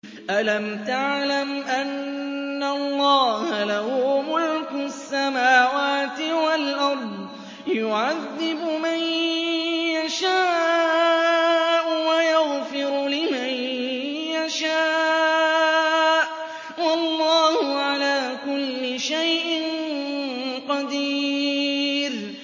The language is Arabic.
أَلَمْ تَعْلَمْ أَنَّ اللَّهَ لَهُ مُلْكُ السَّمَاوَاتِ وَالْأَرْضِ يُعَذِّبُ مَن يَشَاءُ وَيَغْفِرُ لِمَن يَشَاءُ ۗ وَاللَّهُ عَلَىٰ كُلِّ شَيْءٍ قَدِيرٌ